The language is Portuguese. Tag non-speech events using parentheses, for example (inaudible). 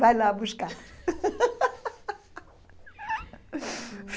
Vai lá buscar. (laughs)